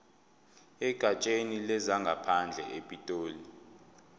egatsheni lezangaphandle epitoli